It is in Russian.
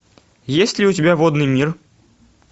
есть ли у тебя водный мир